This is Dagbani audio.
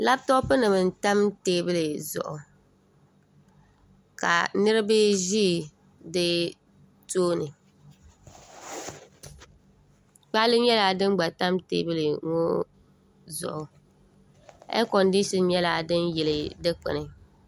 labitɔpunima n-tam teebuli zuɣu ka niriba ʒi di tooni kpaale nyɛla din gba tam teebuli ŋɔ zuɣu eekɔndiishini nyɛla din yili dikpuni